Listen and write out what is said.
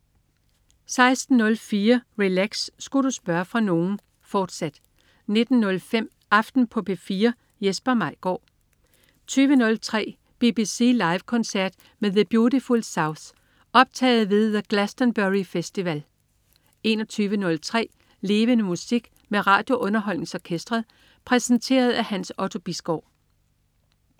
16.04 Relax. Sku' du spørge fra nogen?, fortsat 19.05 Aften på P4. Jesper Maigaard 20.03 BBC Live koncert med The Beautiful South. Optaget ved The Glastonbury Festival 21.03 Levende Musik. Med RadioUnderholdningsOrkestret. Præsenteret af Hans Otto Bisgaard